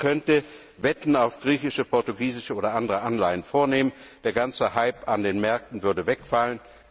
Niemand könnte Wetten auf griechische, portugiesische oder andere Anleihen vornehmen. Der ganze Hype an den Märkten würde wegfallen.